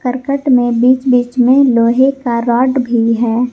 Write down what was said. करकट में बीच बीच में लोहे का रॉड भी है।